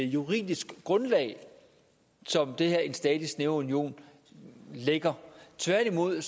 juridisk grundlag som det her om en stadig snævrere union lægger tværtimod er